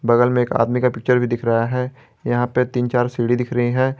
बगल में एक आदमी का पिक्चर भी दिख रहा है यहां पे तीन चार सीढ़ी दिख रही है।